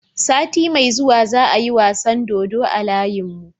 Sati me zuwa za a yi wasan dodo a layin mu